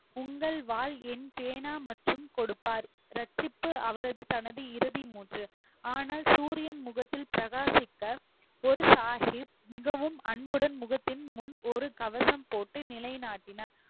உங்கள் வாள் மற்றும் என் பேனா மற்றும் கொடுப்பார் ரட்சிப்பு அவரது தனது இறுதி ஆனால் சூரியன் முகத்தில் பிரகாசிக்க குரு சாஹிப் மிகவும் அன்புடன் முகத்தின் முன் ஒரு கவசம் போட்டு நிலைநாட்டினார்